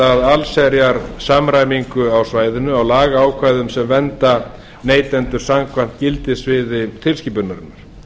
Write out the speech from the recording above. að allsherjar samræmingu á svæðinu á lagaákvæðum sem vernda neytendur samkvæmt gildissviði tilskipunarinnar